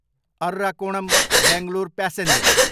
Arakkonam, Bangalore passenger